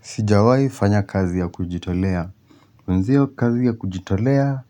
Sijawai fanya kazi ya kujitolea. Mwenzio kazi ya kujitolea